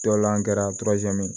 Dɔlan kɛra